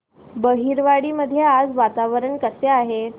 बहिरवाडी मध्ये आज वातावरण कसे आहे